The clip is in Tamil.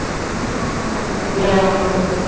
இன்னும் வாங்கல நாளைக்குத்தான் வாங்கணும்